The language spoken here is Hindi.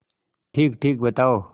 ठीकठीक बताओ